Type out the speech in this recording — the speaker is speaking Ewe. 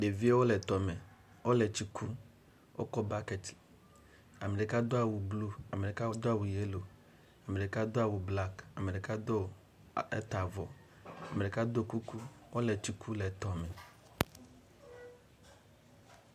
Ɖeviwo le tɔme. Wole tsi kum, wokɔ bakɛti, ame ɖeka do awu blu, ame ɖeka do awu yelo. Ame ɖeka do awu blaki, ɖeka do eta avɔ, ame ɖeka do kuku kɔle tsi kum le tɔme.